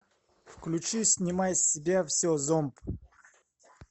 включи снимай с себя все зомб